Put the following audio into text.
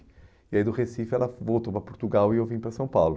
E aí do Recife ela voltou para Portugal e eu vim para São Paulo.